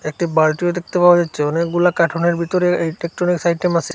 একটি বালটিও দেখতে পাওয়া যাচ্ছে অনেকগুলা কাটুনের ভিতরে একটি ইলেকট্রনিক্স আইটেম আসে।